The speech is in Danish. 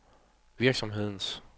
virksomhedens